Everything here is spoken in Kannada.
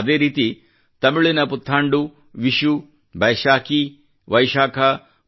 ಅದೇ ರೀತಿ ತಮಿಳಿನ ಪುಥಾಂಡು ವಿಶು ವೈಶಾಖ ಬೈಸಾಖಿ